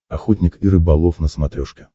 охотник и рыболов на смотрешке